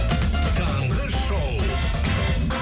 таңғы шоу